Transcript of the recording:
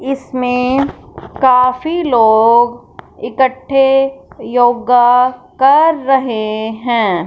इसमें काफी लोग इकट्ठे योगा कर रहे हैं।